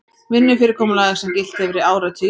Vinnufyrirkomulag sem gilt hefur í áratugi